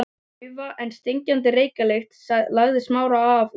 Daufa en stingandi reykjarlykt lagði af Smára og